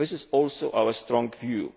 This is also our strong view.